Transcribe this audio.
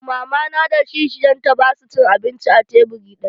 Mama na da kishiyarta basu cin abinci a teburi ɗaya.